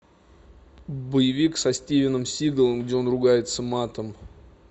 боевик со стивеном сигалом где он ругается матом